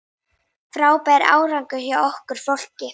Frábær árangur hjá okkar fólki.